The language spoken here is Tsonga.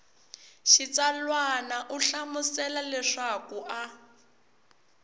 xitsalwana u hlamusela leswaku a